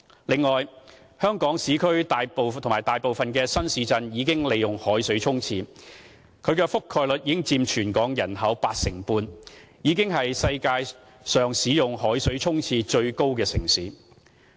此外，香港市區和大部分新市鎮已利用海水沖廁，其覆蓋率佔全港人口約 85%， 已經是世界上海水沖廁使用率最高的城市。